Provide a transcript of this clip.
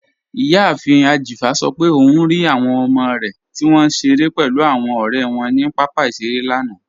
Iyàáfin Ajífa sọ̀ pé ọun rí awọn ọmọ rẹ tí wọn nṣẹ̀rẹ̀ pẹ̀lú awọn ọ̀rẹ̀ wọn ni papa iṣẹ̀rẹ̀ lánà.